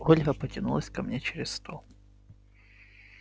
ольга потянулась ко мне через стол